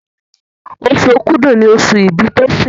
Oṣù Òkúdu ní oṣù ibì Tosin.